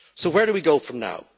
So where do we go from now?